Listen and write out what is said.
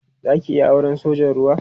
Za ki iya auren sojan ruwa?